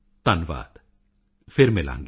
ਧੰਨਵਾਦ ਫਿਰ ਮਿਲਾਂਗੇ